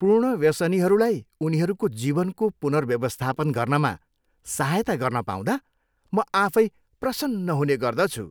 पूर्ण व्यसनीहरूलाई उनीहरूको जीवनको पुनर्व्यवस्थापन गर्नमा सहायता गर्न पाउँदा म आफै प्रसन्न हुने गर्दछु।